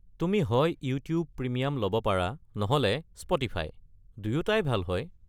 তুমি হয় YouTube Premium ল’ব পাৰা নহ’লে স্প’টিফাই, দুয়োটাই ভাল হয়।